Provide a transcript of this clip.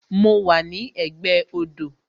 Mo wà ní ẹ̀gbẹ́ odò